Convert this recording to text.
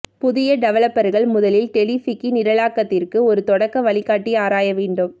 புதிய டெவலப்பர்கள் முதலில் டெலிஃபிகி நிரலாக்கத்திற்கு ஒரு தொடக்க வழிகாட்டி ஆராய வேண்டும்